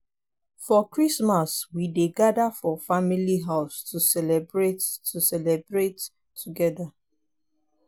for christmas we dey gather for family house to celebrate to celebrate together.